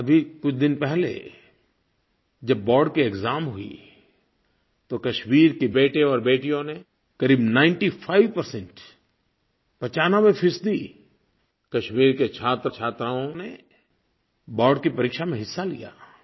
अभी कुछ दिन पहले जब बोर्ड की एक्साम हुई तो कश्मीर के बेटे और बेटियों ने क़रीब 95 पचानबे फ़ीसदी कश्मीर के छात्रछात्राओं ने बोर्ड की परीक्षा में हिस्सा लिया